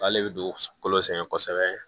Ale bɛ don kolo sɛgɛn kosɛbɛ